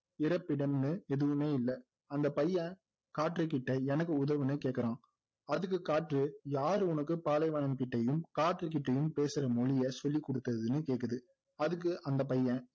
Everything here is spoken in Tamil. இறப்பிடம்னு எதுவுமே இல்லை அந்த பையன் காற்று கிட்ட எனக்கு உதவுன்னு கேக்குறான் அதுக்கு காற்று யார் உனக்கு பாலைவனம்கிட்டயும் காற்றுகிட்டையும் பேசுற மொழியை சொல்லி கொடுத்ததுன்னு கேக்குது அதுக்கு அந்த பையன்